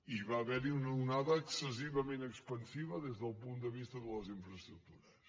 i hi va haver una onada excessivament expansiva dels del punt de vista de les infraestructures